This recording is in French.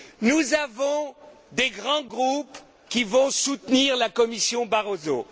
Nous avons des grands groupes, qui vont soutenir la Commission Barroso.